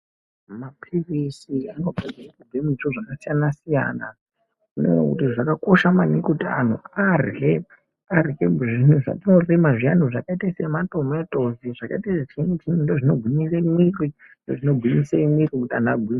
Mapilizi anogadzirwe kubve muzviro zvakasiyanasiyana, zvakakosha maningi kuti anhu arye zvimwe zvaatorima zviyani zvakaite sematimati ,zvakaite chiinyi chiinyi ndizvo zvinogwinyise mwiri, ndizvo zvinogwinyise mwiri kuti anhu agwinye.